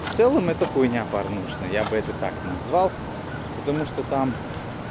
в целом эта хуйня порнушная я бы это так назвал потому что там